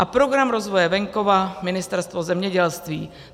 a Program rozvoje venkova, Ministerstvo zemědělství.